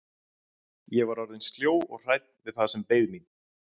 Ég var orðin sljó og hrædd við það sem beið mín.